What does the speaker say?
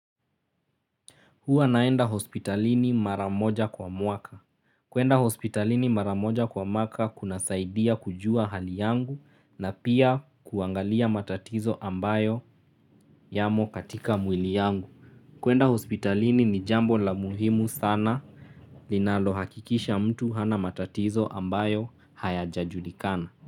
Huwa naenda hospitalini mara moja kwa mwaka. Kuenda hospitalini mara moja kwa mwaka kunasaidia kujua hali yangu na pia kuangalia matatizo ambayo yamo katika mwili yangu. Kuenda hospitalini ni jambo la muhimu sana linalo hakikisha mtu hana matatizo ambayo hayajajulikana.